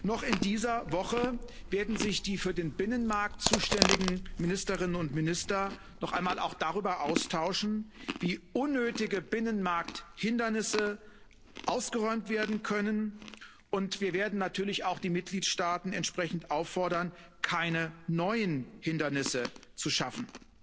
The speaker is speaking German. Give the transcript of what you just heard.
Noch in dieser Woche werden sich die für den Binnenmarkt zuständigen Ministerinnen und Minister noch einmal auch darüber austauschen, wie unnötige Binnenmarkthindernisse ausgeräumt werden können. Wir werden natürlich auch die Mitgliedstaaten entsprechend auffordern, keine neuen Hindernisse zu schaffen.